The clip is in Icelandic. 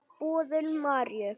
Boðun Maríu.